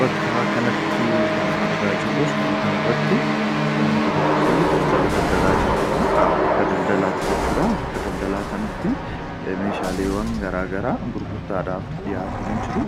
Bakka kanatti kan argaa jirru suuraa kanarratti dubartii daldala daldalaa jirtudha. Bakka daldalaati jechuudha. Bakka daldalaa kanatti meeshaaleen garaagaraa gurgurtaadhaaf dhiyaatanii jiru.